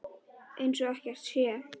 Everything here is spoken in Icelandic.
Eins og ekkert sé!